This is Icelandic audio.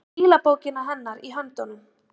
Með stílabókina hennar í höndunum!